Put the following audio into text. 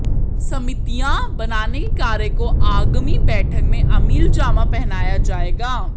समितियां बनाने के कार्य को आगामी बैठक में अमलीजामा पहनाया जाएगा